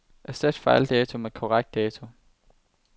Erstat fejldato med korrekt dato.